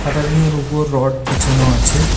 সাটারিংয়ের উপর রড বিছানো আছে।